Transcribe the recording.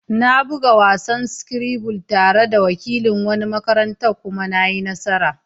Na buga wasan Scrabble tare da wakilin wani makarantar kuma na yi nasara.